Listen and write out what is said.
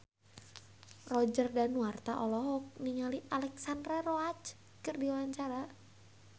Roger Danuarta olohok ningali Alexandra Roach keur diwawancara